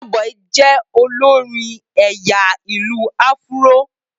Burna boy jẹ́ olórin ẹ̀yà ìlù-áfúró